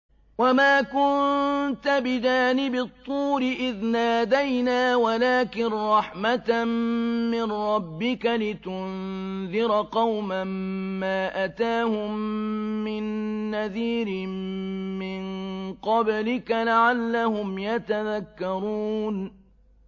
وَمَا كُنتَ بِجَانِبِ الطُّورِ إِذْ نَادَيْنَا وَلَٰكِن رَّحْمَةً مِّن رَّبِّكَ لِتُنذِرَ قَوْمًا مَّا أَتَاهُم مِّن نَّذِيرٍ مِّن قَبْلِكَ لَعَلَّهُمْ يَتَذَكَّرُونَ